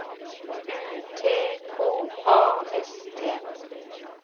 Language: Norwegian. U T K A S T